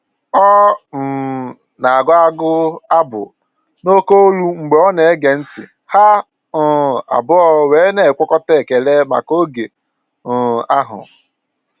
Ọ um na agụ abụ n'oke ólú mgbe ọ na ege ntị, ha um abụọ wee na enwekọta ekele maka oge um ahụ